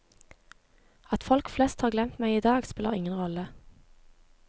At folk flest har glemt meg i dag, spiller ingen rolle.